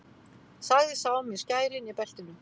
Sagði sá með skærin í beltinu.